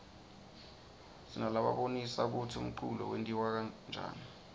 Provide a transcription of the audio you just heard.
sinalabonisa kutsi umculo wentiwaryani